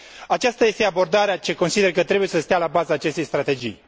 Aceasta este abordarea ce consider că trebuie să stea la baza acestei strategii.